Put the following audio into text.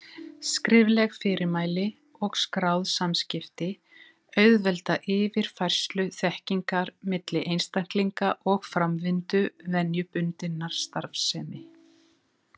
Skrifleg fyrirmæli og skráð samskipti auðvelda yfirfærslu þekkingar milli einstaklinga og framvindu venjubundinnar starfsemi.